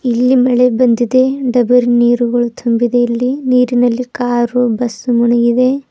ಇಲ್ಲಿ ಮಳೆ ಬಂದಿದೆ ಡಬರ ನೀರುಗಳು ತುಂಬಿದೆ ಇಲ್ಲಿ ನೀರಿನಲ್ಲಿ ಕಾರು ಬಸ್ಸು ಮುನಿಗಿದೆ.